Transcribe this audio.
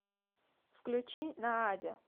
включи наадя